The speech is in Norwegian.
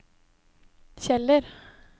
Kjeller